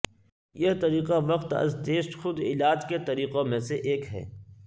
یہ طریقہ وقت از ٹیسٹ خود علاج کے طریقوں میں سے ایک ہے